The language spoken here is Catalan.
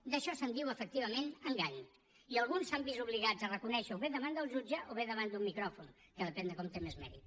d’això se’n diu efectivament engany i alguns s’han vist obligats a reconèixer ho o bé davant del jutge o bé davant d’un micròfon que depèn de com té més mèrit